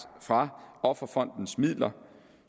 fra offerfondens midler